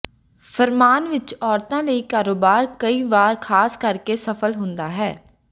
ਫਰਮਾਨ ਵਿਚ ਔਰਤਾਂ ਲਈ ਕਾਰੋਬਾਰ ਕਈ ਵਾਰ ਖਾਸ ਕਰਕੇ ਸਫਲ ਹੁੰਦਾ ਹੈ